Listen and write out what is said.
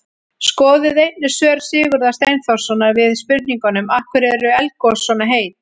Skoðið einnig svör Sigurðar Steinþórssonar við spurningunum: Af hverju eru eldgos svona heit?